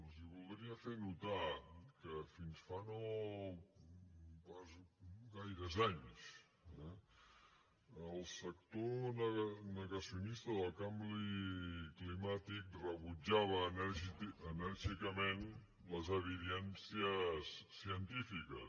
els voldria fer notar que fins fa no gaires anys eh el sector negacionista del canvi climàtic rebutjava enèrgicament les evidències científiques